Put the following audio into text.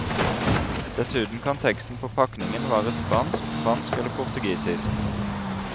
Dessuten kan teksten på pakningen være spansk, fransk eller portugisisk.